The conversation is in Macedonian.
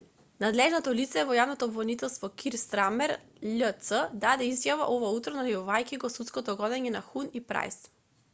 надлежното лице во јавното обвинителство кир стармер љц даде изјава ова утро најавувајќи го судското гонење на хун и прајс